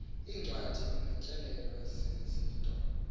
iincwadi notyelelo zizinto